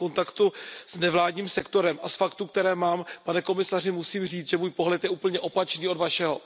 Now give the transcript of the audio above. Jsem v kontaktu s nevládním sektorem a z faktů, které mám, pane komisaři, musím říct, že můj pohled je úplně opačný od Vašeho.